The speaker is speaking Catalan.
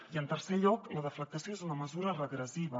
i en tercer lloc la deflactació és una mesura regressiva